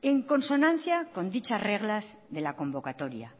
en consonancia con dichas reglas de la convocatoria